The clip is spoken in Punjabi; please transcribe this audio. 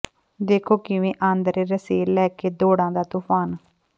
ਦੇਖੋ ਕਿਵੇਂ ਆਂਦਰੇ ਰਸੇਲ ਲੈ ਕੇ ਦੌੜਾਂ ਦਾ ਤੂਫਾਨ